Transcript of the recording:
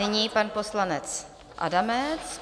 Nyní pan poslanec Adamec.